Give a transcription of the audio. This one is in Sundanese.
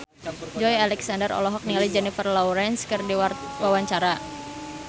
Joey Alexander olohok ningali Jennifer Lawrence keur diwawancara